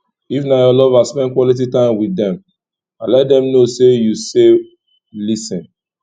if na your lover spend quality time with dem and let them know sey you sey lis ten